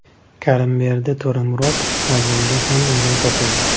Karimberdi To‘ramurod Hazilga ham o‘rin topildi.